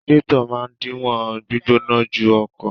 Radiátọ̀ máa díwọ́ gbígbóná jù ọkọ̀.